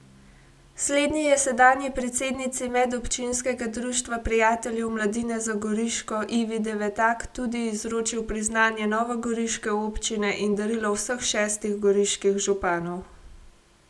Slednji je sedanji predsednici Medobčinskega društva prijateljev mladine za Goriško Ivi Devetak tudi izročil priznanje novogoriške občine in darilo vseh šestih goriških županov.